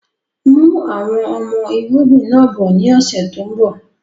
Mú àwọn ọmọ irúgbìn náà bọ ni ọ̀sẹ̀ tòun bọ̀